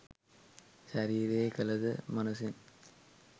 ශරීරයෙන් කළ ද මනසෙන්